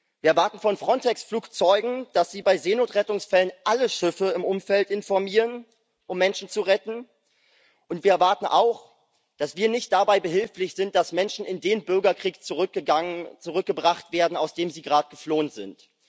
Wir erwarten von Frontex-Flugzeugen, dass sie bei Seenotrettungsfällen alle Schiffe im Umfeld informieren, um Menschen zu retten, und wir erwarten auch, dass wir nicht dabei behilflich sind, dass Menschen in den Bürgerkrieg zurückgebracht werden, aus dem sie gerade geflohen sind.